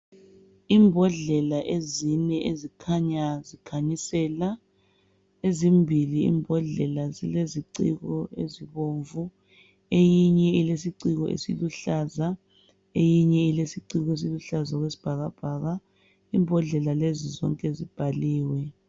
Ibhodlela ezine ezikhanya zikhanyisela ezimbili ibhodlela zileziciko ezibomvu eyinye ilesiciko esiluhlaza eyinye ilesiciko esiluhlaza okwesibhakabhaka ibhodlela lezi zonke zibhaliwe.